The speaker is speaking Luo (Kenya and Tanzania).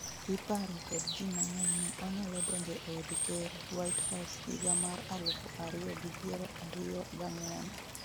iparo kod ji mang'eny ni onyalo donjo eod ker 'white house' higa mar alufu ariyo gi piero ariyo g ang'wen